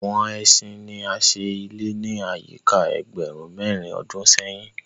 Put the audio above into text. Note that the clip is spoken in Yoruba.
Àwọn ẹṣin ní a ṣe ilé ni ayika ẹgbẹrun mérin ọdún séhìn.